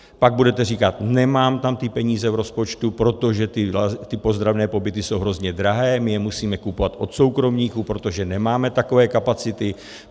Pak budete říkat: nemám tam ty peníze v rozpočtu, protože ty ozdravné pobyty jsou hrozně drahé, my je musíme kupovat od soukromníků, protože nemáme takové kapacity.